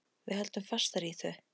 Við höldum fastar í þau.